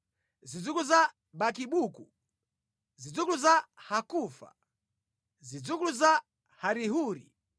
zidzukulu za Bakibuku, zidzukulu za Hakufa, zidzukulu za Harihuri,